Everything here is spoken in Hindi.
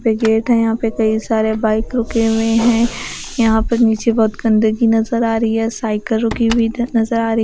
दो गेट हैं यहां पे कई सारे बाइक रुके हुए हैं यहां पे नीचे बहुत गंदगी नजर आ रही है साइकिल रुकी हुई नजर आ रही--